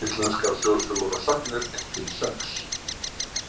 Íslenskar þjóðsögur og sagnir I-XI.